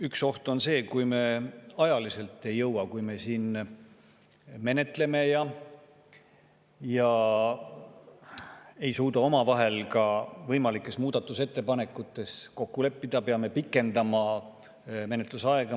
Üks oht on see, et kui me ajaliselt ei jõua, kui me siin menetleme ja ei suuda omavahel ka võimalikes muudatusettepanekutes kokku leppida, siis peame menetlusaega pikendama.